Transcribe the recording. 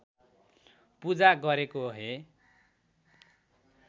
पूजा गरेको हे